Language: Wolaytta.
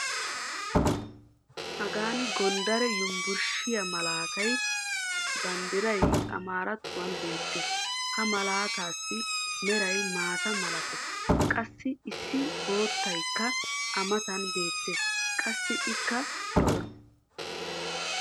hagan gondare yunbburshshiyaa malattiya banddiray amaaarattuwan beetees. ha malaataassi meray maata malatees. qassi issi boottaykka a matan beetees. qassi ikka lo'ees.